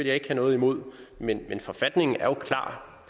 jeg ikke have noget imod men forfatningen er jo klar